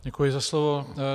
Děkuji za slovo.